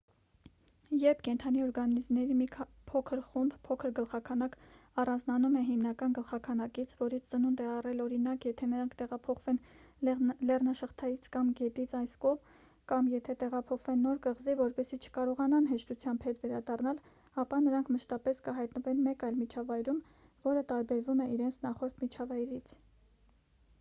երբ կենդանի օրգանիզմների մի փոքր խումբ փոքր գլխաքանակ առանձնանում է հիմնական գլխաքանակից որից ծնունդ է առել օրինակ եթե նրանք տեղափոխվեն լեռնաշղթայից կամ գետից այն կողմ կամ եթե տեղափոխվեն նոր կղզի որպեսզի չկարողանան հեշտությամբ հետ վերադառնալ ապա նրանք մշտապես կհայտնվեն մեկ այլ միջավայրում որը տարբերվում է իրենց նախորդ միջավայրից: